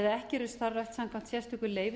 eða ekki eru starfrækt samkvæmt sérstöku leyfi